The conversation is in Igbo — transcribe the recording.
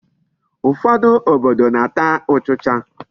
Ụfọdụ obodo na-ata ụchịcha.